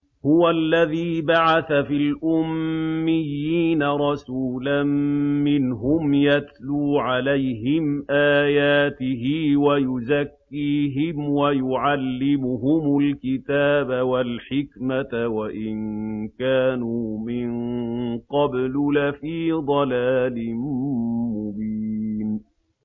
هُوَ الَّذِي بَعَثَ فِي الْأُمِّيِّينَ رَسُولًا مِّنْهُمْ يَتْلُو عَلَيْهِمْ آيَاتِهِ وَيُزَكِّيهِمْ وَيُعَلِّمُهُمُ الْكِتَابَ وَالْحِكْمَةَ وَإِن كَانُوا مِن قَبْلُ لَفِي ضَلَالٍ مُّبِينٍ